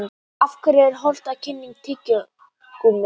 Af hverju er óhollt að kyngja tyggigúmmíi?